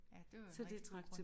Ja det var en rigtig god grund